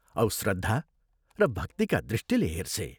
औ श्रद्धा र भक्तिका दृष्टिले हेर्छे।